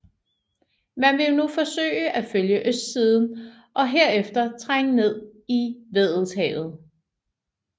Man ville nu forsøge at følge østsiden og herefter trænge ned i Weddellshavet